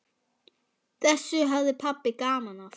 Þessu hafði pabbi gaman af.